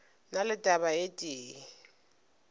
na le taba e tee